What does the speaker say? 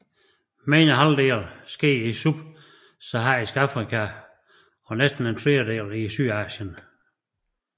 Mere end halvdelen sker i Subsaharisk Afrika og næsten en tredjedel i Sydasien